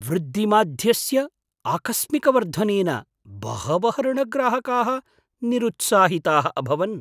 वृद्धिमाध्यस्य आकस्मिकवर्धनेन बहवः ऋणग्राहकाः निरुत्साहिताः अभवन्।